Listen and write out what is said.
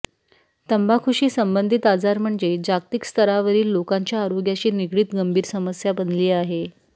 तंबाखूशी संबंधित आजार म्हणजे जागतिक स्तरावरील लोकांच्या आरोग्याशी निगडित गंभीर समस्या बनली आहे